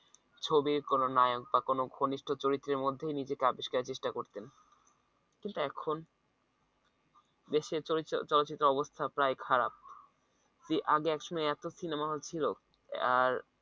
ছবির কোন নায়ক বা কোনো ঘনিষ্ঠ চরিত্রের মধ্যে ও নিজেকে আবিষ্কারের চেষ্টা করতেন কিন্তু এখন দেশের চরি চলচ্চিত্রের অবস্থা প্রায় খারাপ আগে একসময় এত সিনেমা hall ছিল আর